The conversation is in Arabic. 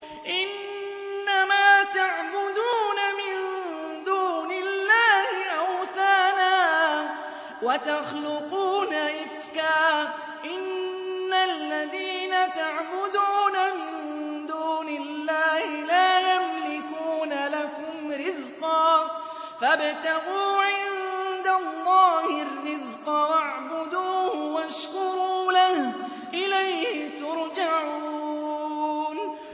إِنَّمَا تَعْبُدُونَ مِن دُونِ اللَّهِ أَوْثَانًا وَتَخْلُقُونَ إِفْكًا ۚ إِنَّ الَّذِينَ تَعْبُدُونَ مِن دُونِ اللَّهِ لَا يَمْلِكُونَ لَكُمْ رِزْقًا فَابْتَغُوا عِندَ اللَّهِ الرِّزْقَ وَاعْبُدُوهُ وَاشْكُرُوا لَهُ ۖ إِلَيْهِ تُرْجَعُونَ